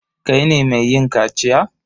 Kai ne mai yin kaciya?